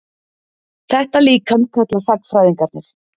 Þetta líkan kalla sagnfræðingarnir